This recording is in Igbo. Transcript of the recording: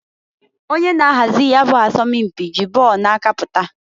Onye na-ahazi ya bụ asọm mpị ji ball na-aka pụta.